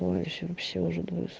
ой все вообще уже думаю с